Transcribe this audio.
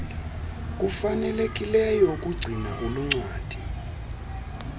kufanelekileyo ukugcina uluncwadi